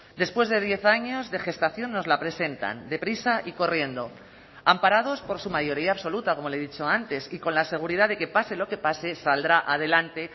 después de diez años de gestación nos la presentan deprisa y corriendo amparados por su mayoría absoluta como le he dicho antes y con la seguridad de que pase lo que pase saldrá adelante